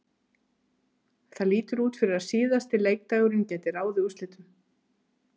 Það lítur út fyrir að síðasti leikdagurinn gæti ráðið úrslitum.